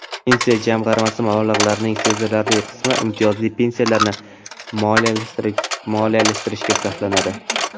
Pensiya jamg‘armasi mablag‘larining sezilarli qismi imtiyozli pensiyalarni moliyalashtirishga sarflanadi.